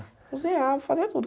Cozinhava, fazia tudo.